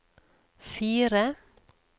fire